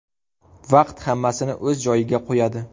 Vaqt hammasini o‘z joyiga qo‘yadi.